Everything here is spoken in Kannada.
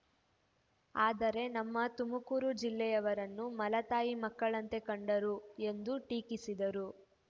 ಆದರೆ ನಮ್ಮ ತುಮಕೂರು ಜಿಲ್ಲೆಯವರನ್ನು ಮಲತಾಯಿ ಮಕ್ಕಳಂತೆ ಕಂಡರು ಎಂದು ಟೀಕಿಸಿದರು